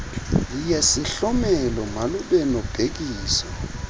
yesihlomelo malube nobhekiso